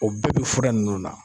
O bɛɛ bi fura nunnu na.